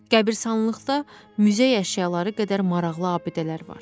Qəbristanlıqda muzey əşyaları qədər maraqlı abidələr var.